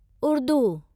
Urdu